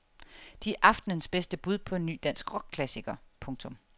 De er aftenens bedste bud på en ny dansk rockklassiker. punktum